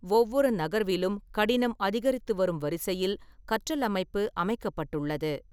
ஒவ்வொரு நகர்விலும் கடினம் அதிகரித்து வரும் வரிசையில் கற்றல் அமைப்பு அமைக்கப்பட்டுள்ளது.